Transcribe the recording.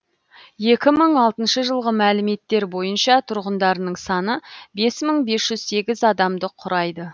екі мың алтыншы жылғы мәліметтер бойынша тұрғындарының саны бес мың бес жүз сегіз адамды құрайды